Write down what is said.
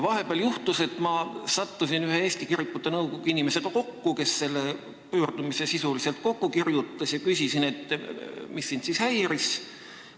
Vahepeal juhtus nii, et ma sattusin kokku Eesti Kirikute Nõukogu inimesega, kes selle pöördumise sisuliselt kirjutas, ja küsisin, mis teda ikkagi häiris.